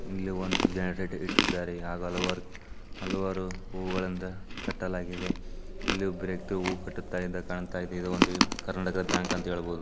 ಇಲ್ಲಿ ಒಂದು ಜೆನೆರೇಟ್ ಇಟ್ಟಿದ್ದಾರೆ ಆಗು ಅಲವಾರು ಅಲವಾರು ಹೂಗಳಿಂದ ಕಟ್ಟಲಾಗಿದೆ ಇಲ್ಲಿ ಒಬ್ಬ ವ್ಯಕ್ತಿ ಕಟ್ಟುತ ಕಾಣ್ತಾ ಇದೆ ಇದು ಒಂದು ಕರ್ನಾಟಕ ಬ್ಯಾಂಕ್ ಅಂತ ಹೇಳ್ಬೊಹುದು.